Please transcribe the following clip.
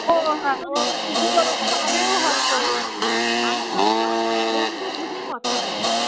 আমি হয়তো বন্ধু বুঝে কথা বলি